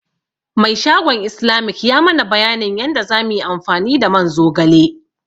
Mai shagon Islamic ya mana bayanin yanda za muyi amfani da man zogale.